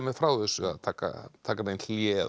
frá þessu taka taka neitt hlé eða